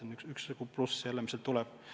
See on üks pluss, mis sealt tuleb.